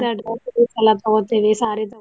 ಎಲ್ಲಾ ತುಗೋತೆವಿ saree ತುಗೋತೆವಿ.